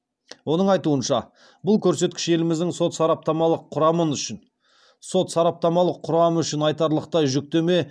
оның айтуынша бұл көрсеткіш еліміздің сот сараптамалық құрамы үшін айтарлықтай жүктеме